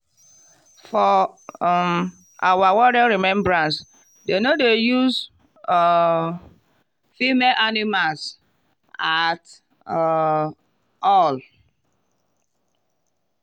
for um our warrior remembrance dem no dey use um female animals at um all.